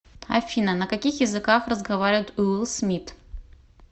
афина на каких языках разговаривает уилл смит